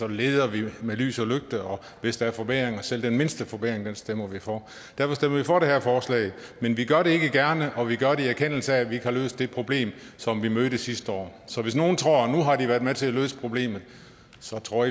leder vi med lys og lygte og hvis der er forbedringer selv den mindste forbedring stemmer vi for derfor stemmer vi for det her forslag men vi gør det ikke gerne og vi gør det i erkendelse af at vi ikke har løst det problem som vi mødte sidste år så hvis nogen tror at nu har de været med til at løse problemet så tror